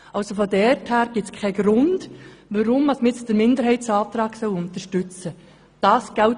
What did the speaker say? Daher gibt es keinen Grund, weshalb man nun den Minderheitsantrag unterstützen soll.